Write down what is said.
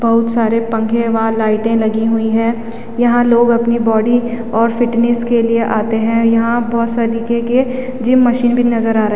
बोहोत सारे पंखे वह लाइटे लगी हुई हैं यहाँ लोग अपने बॉडी और फिटनेस के लिए आते हैं यहाँ बोहोत सलीके के जिम मशीन भी नज़र आ रा --